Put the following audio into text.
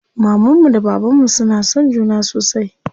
Mamanmu da bababnmu suna son juna sosai.